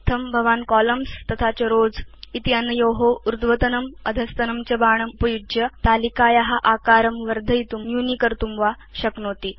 इत्थं भवान् कोलम्न्स् स्थं रोव्स क्षेत्रस्थं च ऊर्ध्वतनम् अधस्तनं च बाणम् उपयुज्य तालिकाया आकारं वर्धयितुं न्यूनीकर्तुं वा शक्नोति